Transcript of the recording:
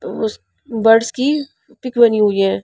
उस बर्ड्स की पिक बनी हुई है.